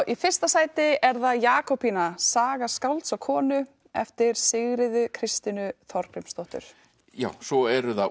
í fyrsta sæti er það Jakobína saga skálds og konu eftir Sigríði Kristínu Þorgrímsdóttur já svo eru það